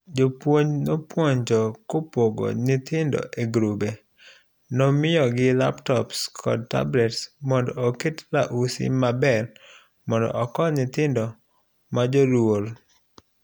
jopuonj nopuonjo ko pogo nyithindo egirube. Nomiyogi laptops kod tablets mondo oket luasi maber mondo okony nyithindo majoluoro.